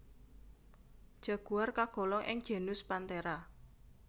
Jaguar kagolong ing genus Panthera